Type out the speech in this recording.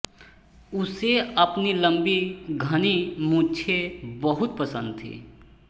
उसे अपनी लम्बी घनी मूंछे बहुत पसन्द थीं